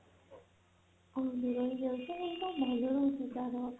ଆଉ ଇଏ ଭଲ ରହୁଛି ତାର